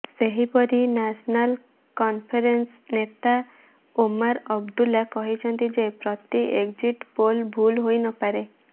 ସେହିପରି national conference ନେତା ଓମାର ଅବଦୁଲ୍ଲା କହିଛନ୍ତି ଯେ ପ୍ରତି ଏକଜିଟ ପୋଲ ଭୁଲ ହୋଇନପାରେ